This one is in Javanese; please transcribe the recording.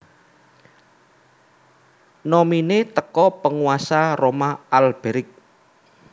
nominee teko Penguasa Roma Alberic